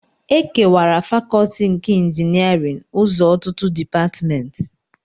Ekewara Fakọọti nke Injiniarin ụzọ ọtụtụ Depatmentị